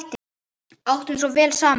Áttum svo vel saman.